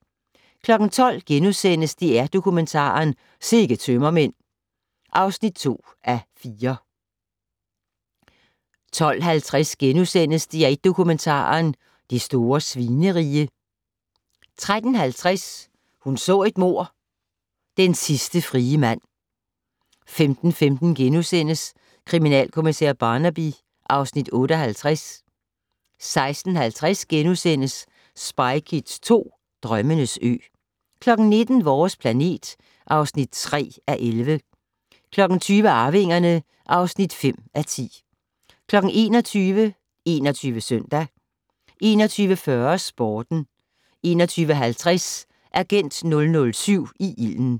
12:00: DR-Dokumentar: Sikke tømmermænd (2:4)* 12:50: DR1 Dokumentaren: Det store Svinerige * 13:50: Hun så et mord: Den sidste frie mand 15:15: Kriminalkommissær Barnaby (Afs. 58)* 16:50: Spy Kids 2 - Drømmenes ø * 19:00: Vores planet (3:11) 20:00: Arvingerne (5:10) 21:00: 21 Søndag 21:40: Sporten 21:50: Agent 007 i ilden